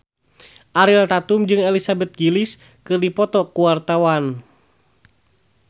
Ariel Tatum jeung Elizabeth Gillies keur dipoto ku wartawan